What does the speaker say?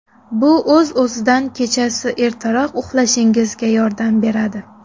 Bu o‘z-o‘zidan kechasi ertaroq uxlashingizga yordam beradi.